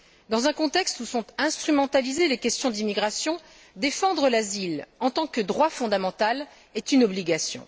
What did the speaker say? Dans un contexte où sont instrumentalisées les questions d'immigration, défendre l'asile en tant que droit fondamental est une obligation.